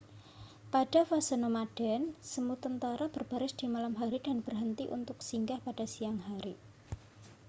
pada fase nomaden semut tentara berbaris di malam hari dan berhenti untuk singgah pada siang hari